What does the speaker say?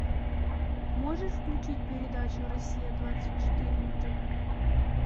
можешь включить передачу россия двадцать четыре на тв